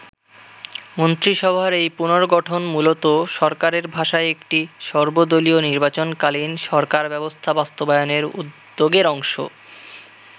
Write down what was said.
মন্ত্রিসভার এই পুনর্গঠন মূলত সরকারের ভাষায় একটি সর্বদলীয় নির্বাচন-কালীন সরকার ব্যবস্থা বাস্তবায়নের উদ্যোগের অংশ।